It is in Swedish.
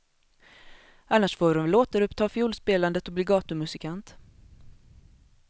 Annars får hon väl återuppta fiolspelandet och bli gatumusikant.